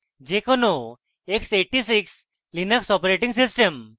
যে কোনো x86 linux operating system